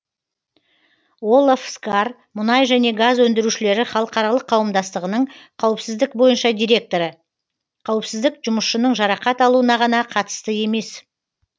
олав скар мұнай және газ өндірушілері халықаралық қауымдастығының қауіпсіздік бойынша директоры қауіпсіздік жұмысшының жарақат алуына ғана қатысты емес